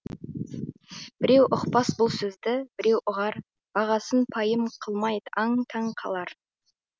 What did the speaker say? біреу ұқпас бұл сөзді біреу ұғар бағасын пайым қылмай аң таң қалар